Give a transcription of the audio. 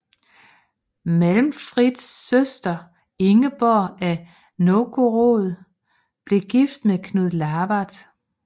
Malmfrids søster Ingeborg af Novgorod blev gift med Knud Lavard